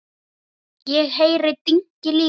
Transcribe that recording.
Ég heyri dynki líka.